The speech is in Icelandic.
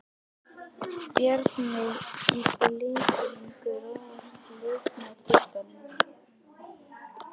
Bjarnveig í blikunum Grófasti leikmaður deildarinnar?